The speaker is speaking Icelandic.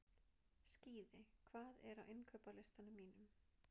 Skíði, hvað er á innkaupalistanum mínum?